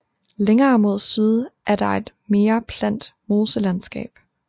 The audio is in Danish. Længere mod syd er der et mere plant moselandskab